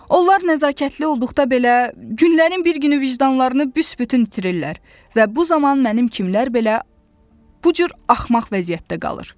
Onlar nəzakətli olduqda belə, günlərin bir günü vicdanlarını büsbütün itirirlər və bu zaman mənim kimlər belə bu cür axmaq vəziyyətdə qalır.